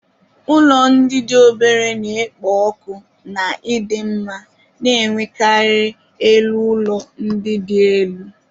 Ụlọ ndị dị obere na-ekpo ọkụ na ịdị mma, na-enwekarị elu ụlọ ndị dị elu.